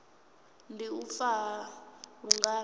ndi u fa ha lungano